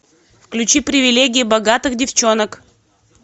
включи привилегии богатых девчонок